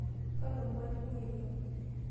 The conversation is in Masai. kalo mwalimui ilo.